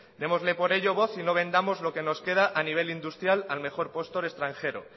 démosle por ello voz y no vendamos lo que nos queda a nivel industrial al mejor postor extranjero